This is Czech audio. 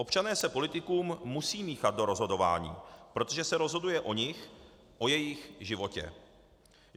Občané se politikům musí míchat do rozhodování, protože se rozhoduje o nich, o jejich životě.